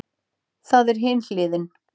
Það er hin hliðin.